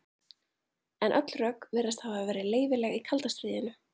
En öll rök virðast hafa verið leyfileg í kalda stríðinu.